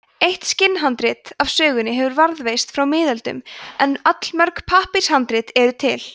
eitt skinnhandrit af sögunni hefur varðveist frá miðöldum en allmörg pappírshandrit eru til